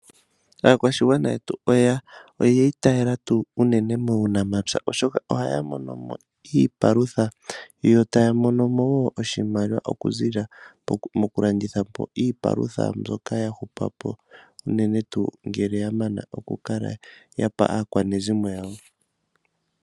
Aakwashigwana yetu oyiitayela tuu unene muunamapya, oshoka ohaya monomo iipalutha , yo taya mono wo oshimaliwa okuziilila mokulandithapo iipalutha mbyoka yahupako , unene tuu ngele ya mana okukala yapa aakwanezimo yawo.